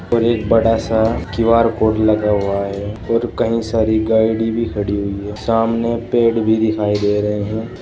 पर एक बड़ा सा क्यू_आर कोड लगा हुआ है और कई सारी गाड़ी भी खड़ी हुई है सामने पेड़ भी दिखाई दे रहे हैं।